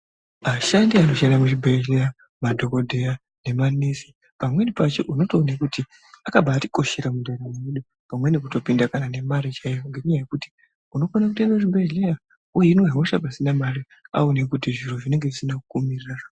Vashandi vanoshanda muzvibhedhlera madhokodheya nemanesi pamweni pacho unotoona kuti akabatikoshera mundaramo yedu pamweni kutombinda memare ngenyaya yekuti unokona kuenda kuzvibhedhlera weimwa hosha pasina mare waone kuti zviro zvinenge zvisina kumirira.